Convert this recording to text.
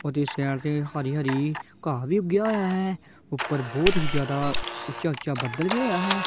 ਉਹਦੀ ਸਾਈਡ ਤੇ ਹਰੀ ਹਰੀ ਘਾਹ ਵੀ ਉੱਗਿਆ ਹੋਇਆ ਹੈ ਉੱਪਰ ਬਹੁਤ ਹੀ ਜਿਆਦਾ ਉੱਚਾ ਉੱਚਾ ਬੱਦਲ ਵੀ ਹੋਇਆ ਹੈ।